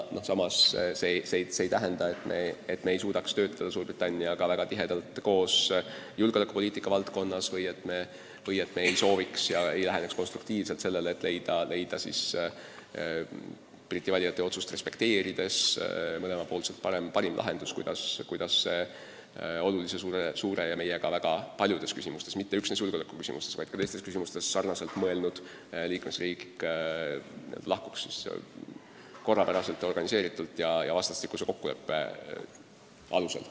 Samas see ei tähenda, et me ei suudaks töötada Suurbritanniaga väga tihedalt koos julgeolekupoliitika valdkonnas või et me ei sooviks ega läheneks konstruktiivselt sellele, et leida Briti valija otsust respekteerides mõlemapoolselt parim lahendus, kuidas see oluline, suur ja meiega väga paljudes küsimustes – mitte üksnes julgeolekuküsimustes, vaid ka teistes küsimustes – sarnaselt mõelnud liikmesriik lahkuks korrakohaselt, organiseeritult ja vastastikuse kokkuleppe alusel.